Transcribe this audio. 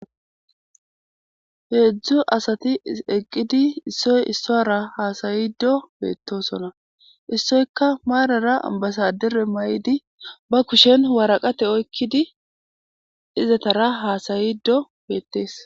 heedzdzu asati eqqidi issoy issora haasayido beettosona issoyka maarara ambasadere may7idi ba kushen waraqate oykkidi izatara haasayido beettees